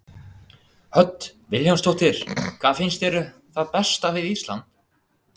Hödd Vilhjálmsdóttir: Hvað finnst þér það besta við Ísland?